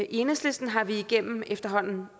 i enhedslisten har vi igennem efterhånden